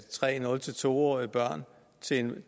tre nul to årige børn